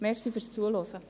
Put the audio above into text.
Danke fürs Zuhören.